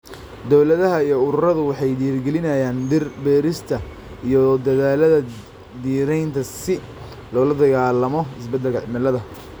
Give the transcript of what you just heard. Dawladaha iyo ururadu waxay dhiirigelinayaan dhir beerista iyo dadaallada dhiraynta si loola dagaallamo isbedelka cimilada.